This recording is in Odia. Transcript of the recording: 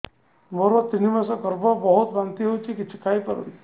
ମୋର ତିନି ମାସ ଗର୍ଭ ବହୁତ ବାନ୍ତି ହେଉଛି କିଛି ଖାଇ ପାରୁନି